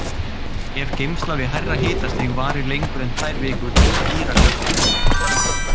Ef geymsla við hærra hitastig varir lengur en tvær vikur spíra kartöflurnar.